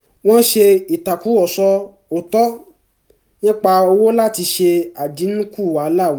wọ́n ṣe ìtàkùrọ̀sọ òótọ́ nípa owó láti ṣe àdínkù wàhálà àwùjọ